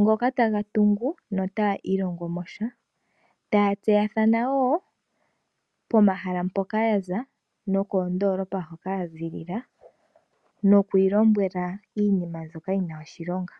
ngoka taga tungu no taya ilongomosha taya tseyathanawo pomahala mpoka ya za nokoondolopa hoka ya ziilila nokwiilombwela iinima mbyoka yi na oshilonga.